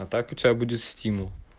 а так у тебя будет стимул